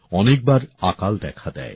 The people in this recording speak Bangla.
অনেক বার আকাল দেখা দেয়